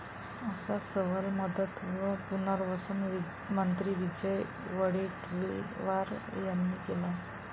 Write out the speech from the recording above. असा सवाल मदत व पुनवर्सन मंत्री विजय वडेट्टीवार यांनी केला आहे.